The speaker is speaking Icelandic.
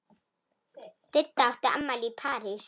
Didda átti afmæli í París.